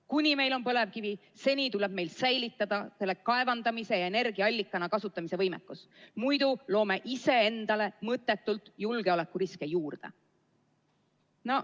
Kuni meil on põlevkivi, tuleb meil säilitada võime seda kaevandada ja energiaallikana kasutada, muidu loome ise endale mõttetult julgeolekuriske juurde.